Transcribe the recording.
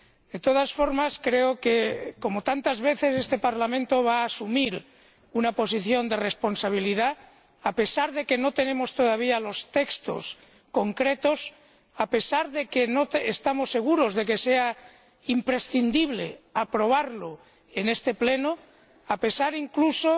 De todas formas creo que, como tantas veces, este Parlamento va a asumir una posición de responsabilidad, a pesar de que no tenemos todavía los textos concretos, a pesar de que no estamos seguros de que sea imprescindible aprobarlo en este Pleno, a pesar, incluso,